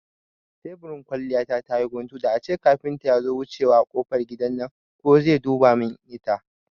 Teburin kwalliya ta tayi guntu, da ace kafinta yazo wucewa a kofar gidan nan ko zai duba mun ita